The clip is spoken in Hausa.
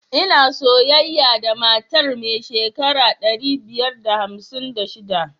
Ina soyayya da matar mai shekara ɗari biyar da hamsin da shiɗa.